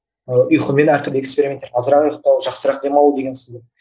ы ұйқымен әртүрлі экспериментер азырақ ұйқтау жақсырақ демалу деген сынды